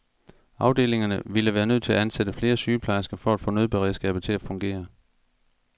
Afdelingerne ville være nødt til at ansætte flere sygeplejersker for at få nødberedskabet til at fungere.